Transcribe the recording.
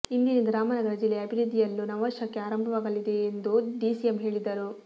ಇಂದಿನಿಂದ ರಾಮನಗರ ಜಿಲ್ಲೆಯ ಅಭಿವೃದ್ಧಿಯಲ್ಲು ನವಶಕೆ ಆರಂಭವಾಗಲಿದೆ ಎಂದು ಡಿಸಿಎಂ ಹೇಳಿದರು